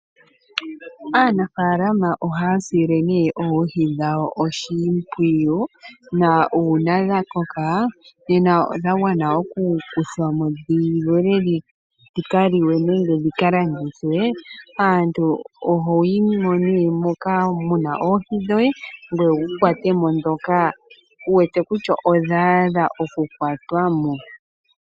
Aanafaalama ohaya sile nee oohi dhawo oshimpwiyu, na uuna dha koka nena dha gwana oku kuthwa mo dhi lolwe dhi ka liwe nenge dhi ka landithwe aantu ohoyi mo nee moka muna oohi dhoye ngoye wu kwatemo ndhoka wu wete kutya odha adha oku kwatwa mo.